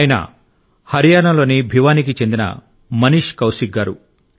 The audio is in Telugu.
ఆయన హర్యానాలోని భివానీకి చెందిన మనీష్ కౌశిక్ గారు